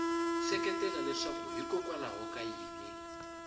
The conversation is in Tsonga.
seketela leswaku hikokwalaho ka yini